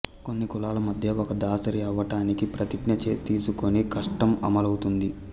కొన్ని కులాల మధ్య ఒక దాసరి అవ్వటానికి ప్రతిజ్ఞ తీసుకొని కస్టమ్ అమలవుతుంది